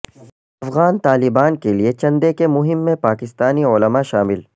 افغان طالبان کے لیے چندے کی مہم میں پاکستانی علما شامل